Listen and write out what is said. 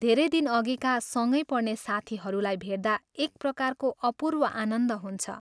धेरै दिनअघिका सँगै पढ्ने साथीहरूलाई भेट्दा एक प्रकारको अपूर्व आनन्द हुन्छ।